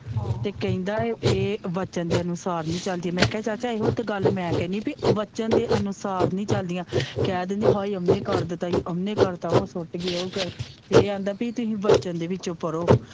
ਤੇ ਕਹਿੰਦਾ ਇਹ ਵਚਨ ਦੇ ਅਨੁਸਾਰ ਨਹੀਂ ਚਲਦੀਆ ਮੈ ਕਿਹਾ ਚਾਚਾ ਇਹੋ ਤੇ ਗੱਲ ਮੈ ਕਹਿਣੀ ਪੀ ਵਚਨ ਦੇ ਅਨੁਸਾਰ ਨਹੀਂ ਚਲਦੀਆਂ ਕਹਿ ਦਿੰਦੀਆਂ ਹਾਏ ਓਹਨੇ ਕਰ ਦਿੱਤਾ ਈ ਹਾਏ ਓਹਨੇ ਕਰਤਾ ਉਹ ਸੁੱਟ ਗਈ ਉਹ ਤੇ ਇਹ ਆਂਦਾ ਕੇ ਤੁਹੀ ਵਚਨ ਦੇ ਵਿੱਚੋ ਪੜੋ।